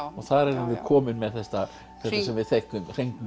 og þar erum við komin með þetta hringmunstur sem við þekkjum